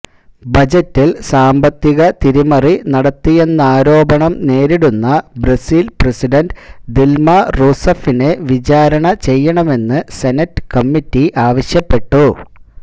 ബജറ്റില് സാമ്പത്തിക തിരിമറി നടത്തിയെന്നാരോപണം നേരിടുന്ന ബ്രസീല് പ്രസിഡണ്ട് ദില്മ റൂസഫിനെ വിചാരണ ചെയ്യണമെന്ന് സെനറ്റ് കമ്മിറ്റി ആവശ്യപ്പെട്ടു